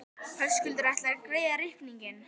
Höskuldur: Ætlarðu að greiða reikninginn?